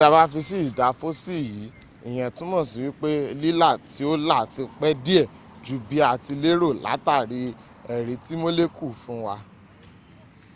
tí a bá fi sí ìdá fossil yìí ìyẹ́n túnmọ̀ sí wípé lílà tí ó là ti pẹ́ díẹ̀ jú bí a ti lérò látàrí èrí tí molecule fún wa